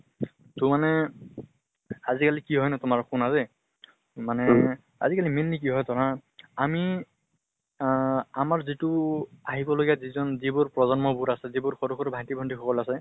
ত মানে আজি কালি কি হয় তোমাৰ শুনা দে মানে আজি কালি mainly কি হয় ধৰা আমি আহ আমাৰ যিটো আহিব লগিয়া যি জন যিবোৰ প্ৰজন্ম বোৰ আছে, যিবোৰ সৰু সৰু ভাটি ভণ্টি সকল আছে